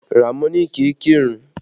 Ramoni kì í kírun